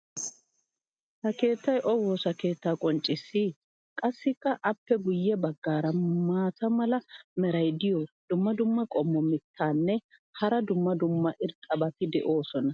ha keettay o waassa keettaa qonccissii? qassikka appe guye bagaara maata mala meray diyo dumma dumma qommo mitattinne hara dumma dumma irxxabati de'iyoonaa?